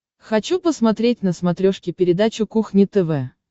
хочу посмотреть на смотрешке передачу кухня тв